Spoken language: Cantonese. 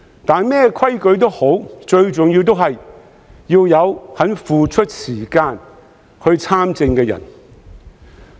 但無論甚麼規則也好，最重要仍是要有肯付出時間參政的人。